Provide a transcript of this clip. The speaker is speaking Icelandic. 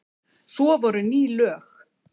Svo voru ný lög.